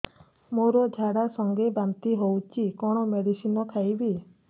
ମୋର ଝାଡା ସଂଗେ ବାନ୍ତି ହଉଚି କଣ ମେଡିସିନ ଖାଇବି